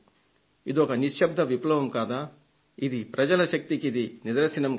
ఇదొక నిశ్శబ్ద విప్లవం కాదా ఇది ప్రజల శక్తికిది నిదర్శనం